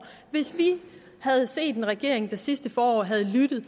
hvis vi havde set en regering der sidste forår havde lyttet